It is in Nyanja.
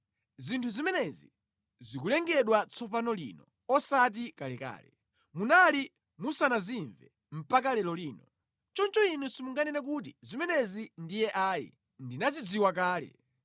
Zinthu zimenezi zikulengedwa tsopano lino, osati kalekale; munali musanazimve mpaka lero lino. Choncho inu simunganene kuti, ‘Zimenezi ndiye ayi, ndinazidziwa kale.’